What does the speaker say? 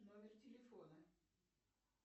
номер телефона